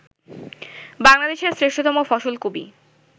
বাংলাদেশের শ্রেষ্ঠতম ফসল কবি